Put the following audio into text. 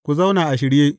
Ku zauna a shirye!